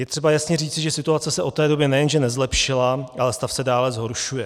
Je třeba jasně říci, že situace se od té doby nejenže nezlepšila, ale stav se dále zhoršuje.